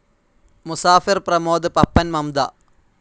Musafir Pramod Pappan Mamta